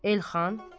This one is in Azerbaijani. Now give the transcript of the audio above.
Elxan.